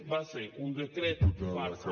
va ser un decret farsa